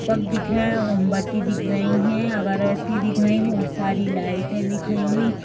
Cup दिख रहे हैं। मोमबत्ती दिख रही हैं। अगरबत्ती दिख रहीं। बहोत सारी लाइटें दिख रही हैं।